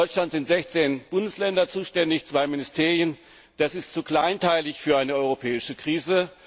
In Deutschland sind 16 Bundesländer und 2 Ministerien zuständig, das ist zu kleinteilig für eine europäische Krise.